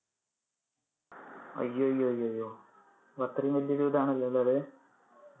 അയ്യയ്യയോ, അപ്പൊ അത്രെയും വലിയൊരു ഇതാണല്ലേ ഉള്ളത്.